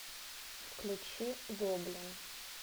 включи гоблин